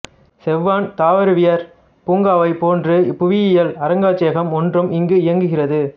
செவான் தாவரவியற் பூங்காவைப் போன்று புவியியல் அருங்காட்சியகம் ஒன்றும் இங்கு இயங்குகிறது